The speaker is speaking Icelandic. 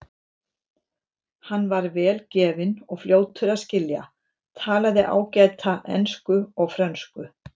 Hann var vel gefinn og fljótur að skilja, talaði ágætlega ensku og frönsku.